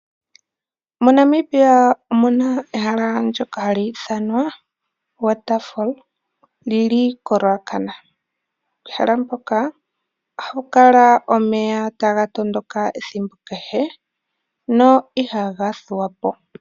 MoNamibia omuna ehala ndoka hali ithanwa Water fall lili ko Ruacana. Pehala mpoka ohaku kala omeya taga tondoka ethimbo kehe no ihaga thuwa po.